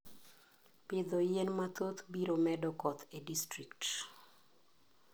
Pitho yien mathoth biro medo koth e distrikt.